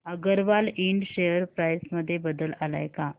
अगरवाल इंड share price मध्ये बदल आलाय का